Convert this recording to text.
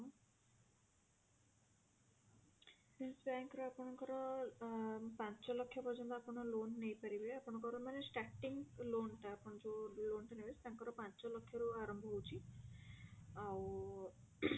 axis bank ର ଆପଣଙ୍କର ଅ ପାଞ୍ଚ ଲକ୍ଷ ପର୍ଯ୍ୟନ୍ତ ଆପଣ loan ନେଇପାରିବେ ଆପଣଙ୍କର ମାନେ starting loan ଟା ଆପଣ ଯୋଉ loan ଟା ନେବେ ତାଙ୍କର ପାଞ୍ଚ ଲକ୍ଷରୁ ଆରମ୍ଭ ହୋଉଛି ଆଉ